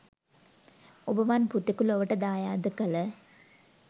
ඔබවන් පුතෙකු ලොවට දායාද කල